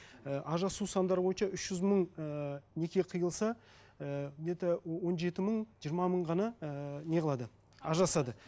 і ажырасу сандары бойынша үш жүз мың ііі неке қиылса ііі где то он жеті мың жиырма мың ғана ііі неғылады ажырасады